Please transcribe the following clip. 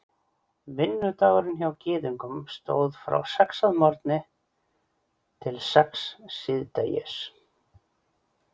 Vinnudagurinn hjá Gyðingum stóð frá sex að morgni til sex síðdegis.